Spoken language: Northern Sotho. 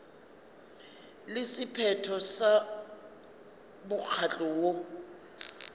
le sephetho sa mokgatlo woo